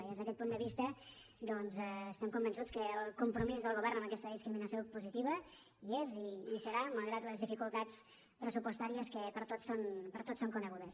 i des d’aquest punt de vista doncs estem convençuts que el compromís del govern amb aquesta discriminació positiva hi és i hi serà malgrat les dificultats pressupostàries que per tots són conegudes